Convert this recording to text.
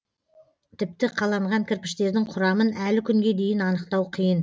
тіпті қаланған кірпіштердің құрамын әлі күнге дейін анықтау қиын